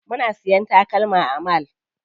Muna siya takalma a mall.